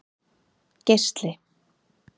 Geisli